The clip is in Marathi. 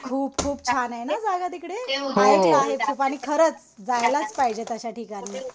खूप खूप छान आहे ना जागा तिकडे. माहिती आहे खूप. आणि खरंच जायलाच पाहिजे तशा ठिकाणी.